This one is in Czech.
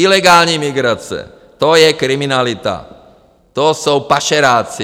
Ilegální migrace - to je kriminalita, to jsou pašeráci!